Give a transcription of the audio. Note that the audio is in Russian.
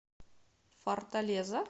форталеза